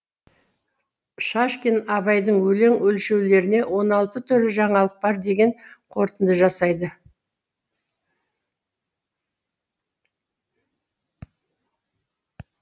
шашкин абайдың өлең өлшеулеріне он алты түрлі жаңалық бар деген қорытынды жасайды